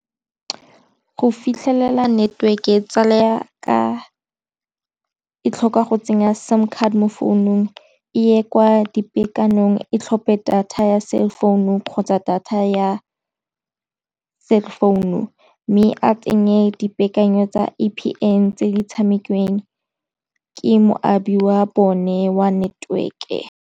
Go fitlhelela network-e tsala ya ka e tlhoka go tsenya sim card mo founong e ye kwa dipekanong e tlhophe data ya cell founung kgotsa data ya cell founu, mme a tsenye dipaakanyo tsa A_P_N tse di tshamekiwe ke moabi wa bone wa network-e.